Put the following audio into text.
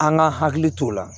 An ka hakili t'o la